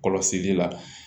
Kɔlɔsili la